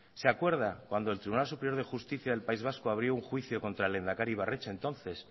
se acuerda cuando el tribunal superior de justicia del país vasco abrió un juicio contra el lehendakari ibarretxe entonces